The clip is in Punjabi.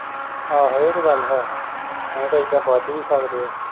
ਆਹੋ ਇਹ ਤੇ ਗਲ ਹੈ ਨਹੀਂ ਤੇ ਏਦਾਂ ਬਜ ਵੀ ਸਕਦੇ ਆ